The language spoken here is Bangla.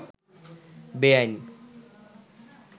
বেয়াইন